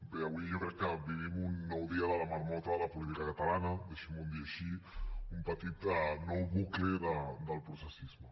bé avui jo crec que vivim un nou dia de la marmota de la política catalana deixin m’ho dir així un petit nou bucle del processisme